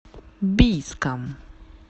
бийском